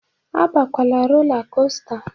Abakwala rola kosta!